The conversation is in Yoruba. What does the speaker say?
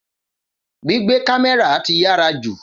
Gbígbé kámẹ́rà ti yàrá jù